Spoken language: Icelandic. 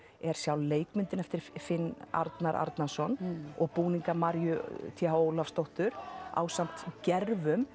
er sjálf leikmyndin eftir Finn Arnar Arnarson og búningar Maríu t h Ólafsdóttur ásamt